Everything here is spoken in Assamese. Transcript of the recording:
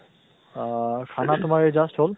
আহ খানা তোমাৰ এই just হল।